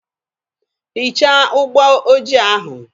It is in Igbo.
Hichaa ụgbọ ojii ahụ!